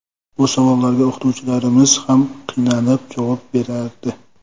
Bu savollarga o‘qituvchilarimiz ham qiynalib javob berardi.